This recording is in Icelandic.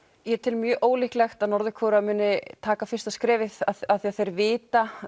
ég tel mjög ólíklegt að Norður Kórea muni taka fyrsta skrefið af því að þeir vita